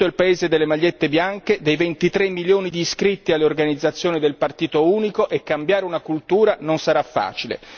Questo è il paese delle magliette bianche, dei 23 milioni di iscritti alle organizzazioni del Partito unico e cambiare una cultura non sarà facile.